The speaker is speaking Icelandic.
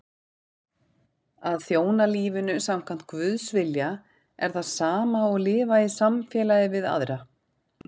Að þjóna lífinu samkvæmt Guðs vilja er það sama og lifa í samfélagi við aðra.